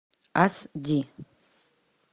ас ди